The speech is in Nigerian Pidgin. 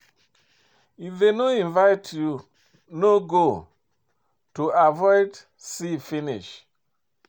If dem no invite you, no go, to avoid see finish